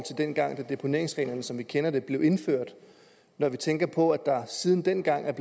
dengang deponeringsreglerne som vi kender dem blev indført når vi tænker på at der siden dengang er